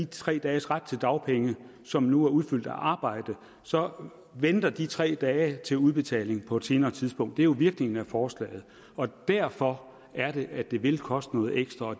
tre dages ret til dagpenge som nu er udfyldt af arbejde så venter de tre dage til udbetaling på et senere tidspunkt det er jo virkningen af forslaget derfor er det at det vil koste noget ekstra og